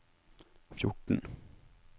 fjorten